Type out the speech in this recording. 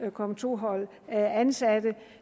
kommer to hold ansatte